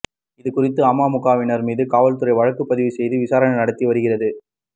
இதுகுறித்து அமமுகவினர் மீது காவல்துறை வழக்குப்பதிவு செய்து விசாரணை நடத்தி வருகிறது